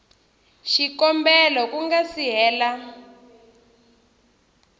xikombelo ku nga si hela